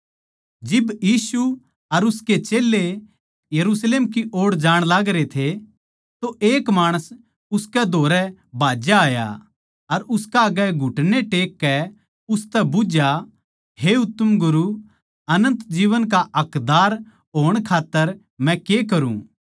जिब यीशु अर उसके चेल्लें यरुशलेम की ओड़ै जाण लागरे थे तो एक माणस उसकै धोरै भाज्दा होया आया अर उसकै आग्गै घुटने टेक कै उसतै बुझ्झया हे उत्तम गुरू अनन्त जीवन का हकदार होण खात्तर मै के करूँ